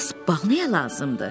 Bəs bal nəyə lazımdır?